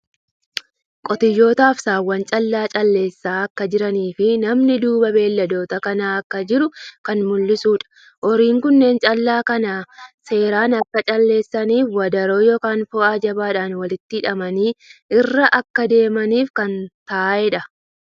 Qotiyyootaa fi Saawwan callaa calleessaa akka jiranii fii namni duuba beeyladoota kanaa akka jiru kan mul'isuudha. Horiin kunneen callaa kana seeran akka calleessaniif wadaroo yookiin fo'aa jabaadhan walitti hidhamanii irra akka deemaniif kan ta'eedha.